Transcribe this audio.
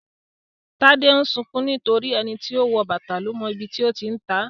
Tade ń sunkún nítorí pé "ẹni tó wọ bàtà ló mọ ibi tó ti ń ta á "